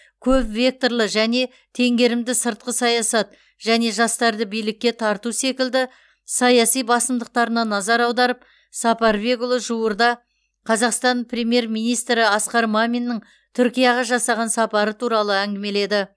көп векторлы және теңгерімді сыртқы саясат және жастарды билікке тарту секілді саяси басымдықтарына назар аударып сапарбекұлы жуырда қазақстан премьер министрі асқар маминнің түркияға жасаған сапары туралы әңгімеледі